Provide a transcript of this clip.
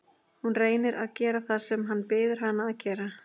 Hún reynir að gera það sem hann biður hana að gera.